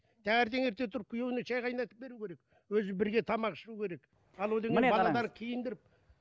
танертең ерте тұрып күйеуіне шай қайнатып беруі керек өзі бірге тамақ ішуі керек ал одан балаларды киіндіріп